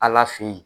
Ala fe yen